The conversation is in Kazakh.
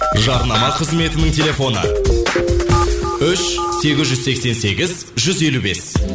жарнама қызметінің телефоны үш сегіз жүз сексен сегіз жүз елу бес